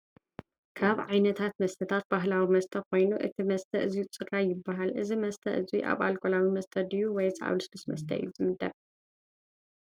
ካብ ዓይነታት መስተታት ባህላዊ መስተ ኮይኑ እዚ መስተ እዙይ ፅራይ ይበሃል:: እዚ መስተ እዙይ ኣብ ኣልኮላዊ መስተ ድዩ ወይስ ኣብ ሉስሉስ መስተ እዩ ዝምደብ ?